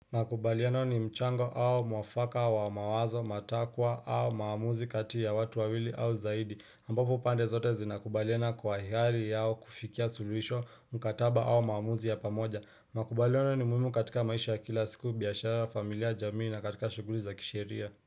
Makubaliano ni mchango au mwafaka wa mawazo, matakwa au maamuzi kati ya watu wawili au zaidi, ambapo upande zote zinakubaliana kwa ihari yao kufikia suluhisho, mkataba au maamuzi ya pamoja. Makubaliano ni muhimu katika maisha ya kila siku, biyashara, familia, jamii na katika shuguli za kisheria.